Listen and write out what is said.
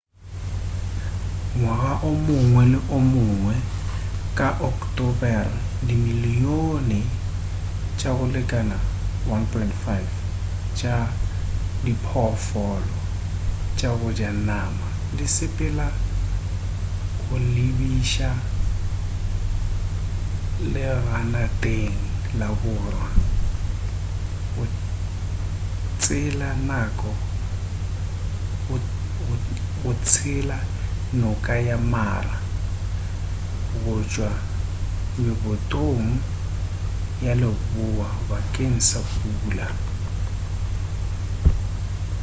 ngwaga o mongwe le o mongwe ka bo ocktobere dimilion tša go lekana 1.5 tša diphoofolo tša go ja nama di sepelela go lebiša leganateng laborwa go tsela noka ya mara go tšwa mebotong ya leboa bakeng sa pula